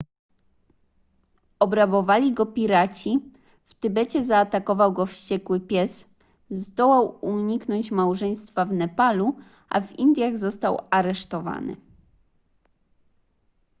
obrabowali go piraci w tybecie zaatakował go wściekły pies zdołał uniknąć małżeństwa w nepalu a w indiach został aresztowany